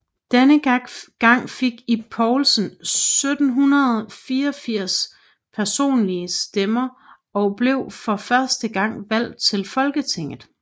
Denne gang fik Ib Poulsen 1784 personlige stemmer og blev for første gang valgt til Folketinget